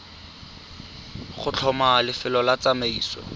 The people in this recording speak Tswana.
go tlhoma lefelo la tsamaiso